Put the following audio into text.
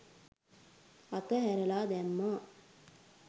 අතහැරලා දැම්මා